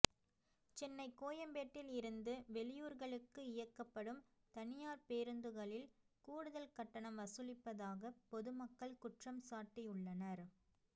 சென்னை கோயம்பேட்டில் இருந்து வெளியூர்களுக்கு இயக்கப்படும் தனியார் பேருந்துகளில் கூடுதல் கட்டணம் வசூலிப்பதாக பொதுமக்கள் குற்றம்சாட்டியுள்ளனர்